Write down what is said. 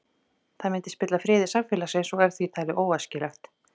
Það myndi spilla friði samfélagsins og er því talið óæskilegt.